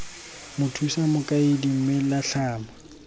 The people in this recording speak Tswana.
mothusa mokaedi mme la tlhama